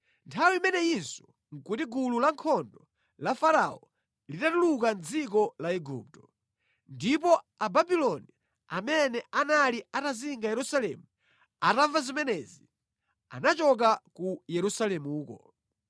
Nthawi imeneyinso nʼkuti gulu lankhondo la Farao litatuluka mʼdziko la Igupto. Ndipo Ababuloni amene anali atazinga Yerusalemu atamva zimenezi, anachoka ku Yerusalemuko.